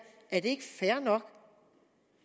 er det ikke fair nok